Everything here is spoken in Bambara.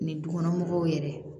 Ni dukɔnɔmɔgɔw yɛrɛ